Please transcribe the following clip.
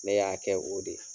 Ne y'a kɛ o de ye.